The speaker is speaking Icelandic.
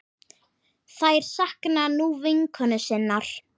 Þær sakna nú vinkonu sinnar.